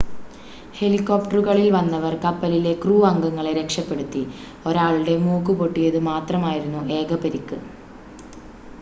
ഹെലികോപ്ടറുകളിൽ വന്നവർ കപ്പലിലെ ക്രൂ അംഗങ്ങളെ രക്ഷപ്പെടുത്തി ഒരാളുടെ മൂക്ക് പൊട്ടിയത് മാത്രമായിരുന്നു ഏക പരിക്ക്